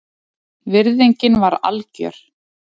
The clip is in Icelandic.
Virðingin var algjör